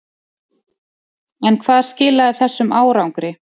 En hvað skilaði þessum árangri?